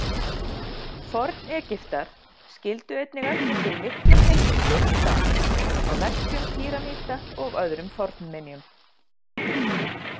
Forn-Egyptar skildu einnig eftir sig miklar heimildir um dans, á veggjum pýramída og öðrum fornminjum.